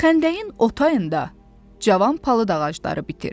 Xəndəyin o tayında cavan palıd ağacları bitir.